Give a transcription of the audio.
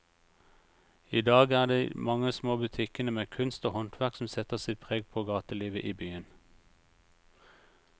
I dag er det de mange små butikkene med kunst og håndverk som setter sitt preg på gatelivet i byen.